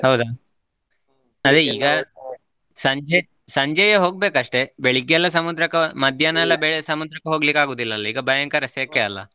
ಹೌದಾ? ಸಂಜೆ ಸಂಜೆಯೆ ಹೋಗ್ಬೇಕಷ್ಟೇ ಬೆಳಗ್ಗೆ ಎಲ್ಲಾ ಸಮುದ್ರಕ್ಕ ಎಲ್ಲಾ ಬೆಳ ಸಮುದ್ರಕ್ಕ ಹೋಗ್ಲಿಕ್ಕ ಆಗುವುದಿಲ್ಲ ಅಲ್ಲಾ ಈಗ ಭಯಂಕರ ಸೆಕೆ ಅಲ್ಲಾ.